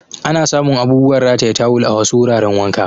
Ana samun abubuwan rataye tawal a wasu wuraran wanka.